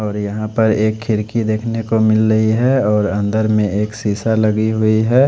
और यहां पर एक खिड़की देखने को मिल रही है और अंदर में एक शीशा लगी हुई है।